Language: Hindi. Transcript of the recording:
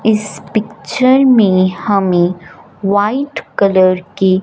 इस पिक्चर में हमें व्हाइट कलर की--